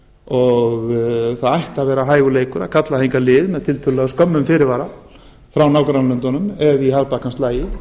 og það ætti að að vera hægur leikur að kalla hingað lið tiltölulega með skömmum fyrirvara frá nágrannalöndunum ef í harðbakkann slægi